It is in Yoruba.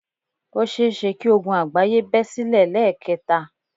Ó seése kí ogun àgbáyé bẹ́ silẹ̀ lẹ́ẹ̀kẹta